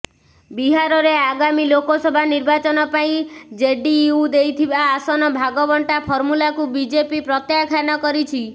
ବିହାରରେ ଆଗାମୀ ଲୋକସଭା ନିର୍ବାଚନ ପାଇଁ ଜେଡିୟୁ ଦେଇଥିବା ଆସନ ଭାଗବଣ୍ଟା ଫର୍ମୁଲାକୁ ବିଜେପି ପ୍ରତ୍ୟାଖ୍ୟାନ କରିଛି